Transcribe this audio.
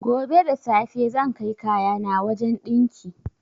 Gobe da safe zan kai kayana wajan ɗinki